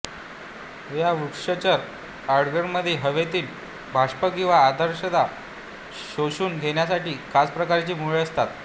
या वृक्षचर ऑर्किडमध्ये हवेतील बाष्प किंवा आर्द्रता शोषून घेण्यासाठी खास प्रकारची मुळे असतात